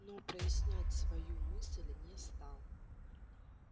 но прояснять свою мысль не стал